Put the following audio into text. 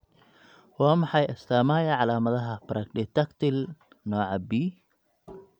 Waa maxay astamaha iyo calaamadaha Brachydactyly nooca B?